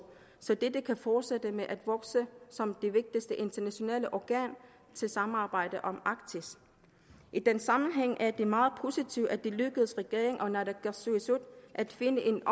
så dette kan fortsætte med at vokse som det vigtigste internationale organ til samarbejde om arktis i den sammenhæng er det meget positivt at det er lykkedes regeringen og naalakkasuisut at finde en